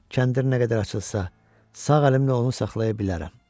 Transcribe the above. Kəndir nə qədər açılsa, sağ əlimlə onu saxlaya bilərəm.